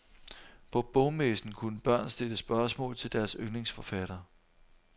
På bogmessen kunne børn stille spørgsmål til deres yndlingsforfatter.